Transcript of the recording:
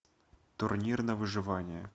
турнир на выживание